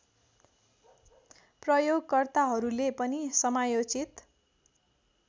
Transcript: प्रयोगकर्ताहरूले पनि समयोचित